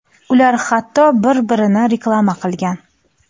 Ular hatto bir-birini reklama qilgan.